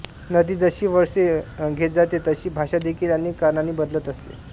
नदी जशी वळसे घेत जाते तशी भाषा देखील अनेक कारणांनी बदलत असते